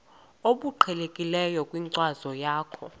obuqhelekileyo kwinkcazo yakho